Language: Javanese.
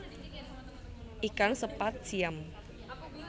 Ikan sepat siam